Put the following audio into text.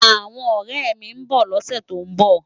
Awòn òrè mi n bò lòsè tó n bò